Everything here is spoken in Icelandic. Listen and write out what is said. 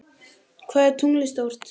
Hvað er tunglið stórt?